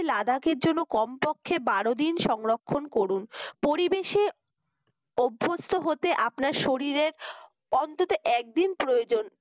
লাদাকের জন্য কমপক্ষে বারো দিন সংরক্ষণ করুন। পরিবেশে অভ্যস্ত হতে আপনার শরীরের অন্তত একদিন প্রয়োজন।